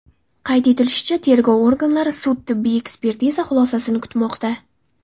Qayd etilishicha, tergov organlari sud-tibbiy ekspertiza xulosasini kutmoqda.